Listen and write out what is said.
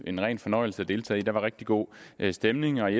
en ren fornøjelse at deltage der var rigtig god stemning og i